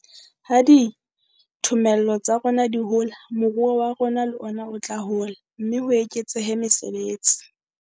Ha dithomello tsa rona di hola, moruo wa rona le ona o tla hola, mme ho eketsehe mesebetsi.